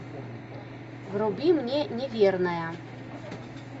вруби мне неверная